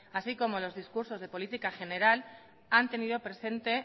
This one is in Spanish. así como los discursos de política general han tenido presente